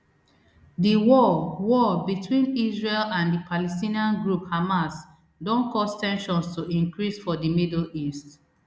di war war between israel and di palestinian group hamas don cause ten sions to increase for di middle east